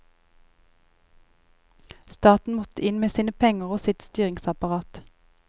Staten måtte inn med sine penger og sitt styringsapparat.